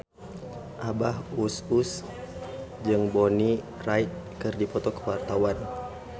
Abah Us Us jeung Bonnie Wright keur dipoto ku wartawan